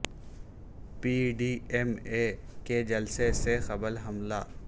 P D M A کے جلسے سے قبل حملہ